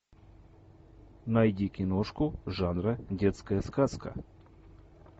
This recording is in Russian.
найди киношку жанра детская сказка